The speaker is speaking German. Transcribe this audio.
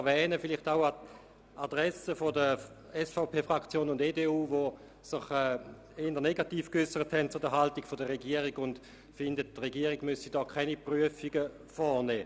Dies vielleicht auch an die Adresse der SVP- und der EDU-Fraktion, die sich der Haltung der Regierung gegenüber eher negativ geäussert haben und finden, die Regierung müsse hier keine Prüfungen vornehmen.